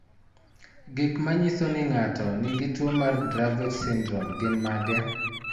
Gik manyiso ni ng'ato nigi tuwo mar Dravet syndrome gin mage?